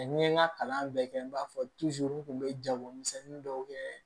ni ye n ka kalan bɛɛ kɛ n b'a fɔ n kun bɛ jagomisɛnnin dɔw kɛ